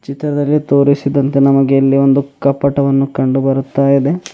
ಚಿತ್ರದಲ್ಲಿ ತೋರಿಸಿದಂತೆ ನಮಗೆ ಇಲ್ಲಿ ಒಂದು ಕಪ್ಪಟವನ್ನು ಕಂಡು ಬರುತ್ತಾಯಿದೆ.